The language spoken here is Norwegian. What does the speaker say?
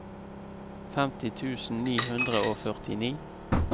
femti tusen ni hundre og førtini